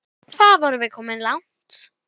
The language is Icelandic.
Hvað vorum við komin langt?